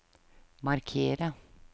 markere